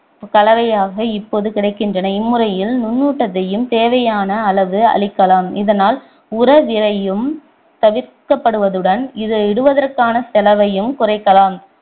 கலவையாக இப்போது கிடைக்கின்றன இம்முறையில் நுண்ணூட்டத்தையும் தேவையான அளவு அளிக்கலாம் இதனால் உர விரையம் தவிர்க்கப்படுவதுடன் இதை இடுவதற்கான செலவையும் குறைக்கலாம்